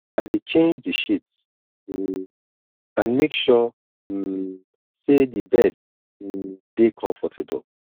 i dey change di sheets um and make sure um say di bed um dey comfortable